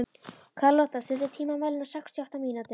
Karlotta, stilltu tímamælinn á sextíu og átta mínútur.